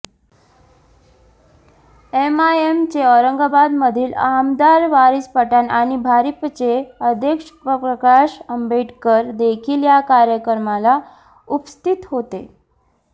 एमआयएमचे औरंगाबादमधील आमदार वारिस पठाण आणि भारिपचे अध्यक्ष प्रकाश आंबेडकर देखील या कार्यक्रमाला उपस्थित होते